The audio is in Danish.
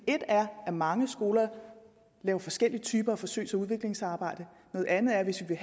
et er at mange skoler laver forskellige typer af forsøgs og udviklingssamarbejde noget andet er at hvis vi